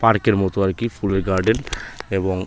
পার্কের মতো আর কি ফুলের গার্ডেন এবং--